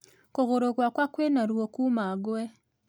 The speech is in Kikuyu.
Kũgũru gwakwa kwĩna ruo kuuma ngwe